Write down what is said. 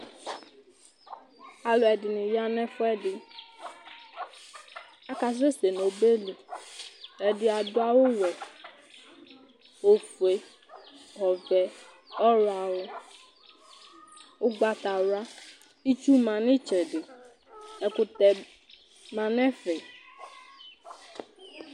Alʋɛdɩnɩ ya nʋ ɛfʋɛdɩ, akasɛsɛ nʋ ɔbɛ li Ɛdɩ adʋ awʋwɛ, ofue, ɔvɛ, ɔɣlɔawʋ ʋgbatawla Itsu ma nʋ ɩtsɛdɩ, ɛkʋtɛ ma nʋ ɛfɛ